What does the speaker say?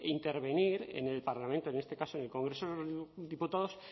intervenir en el parlamento en este caso en el congreso de diputados